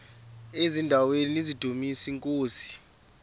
eziaweni nizidumis iinkosi